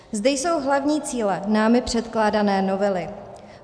Zde jsou hlavní cíle námi předkládané novely.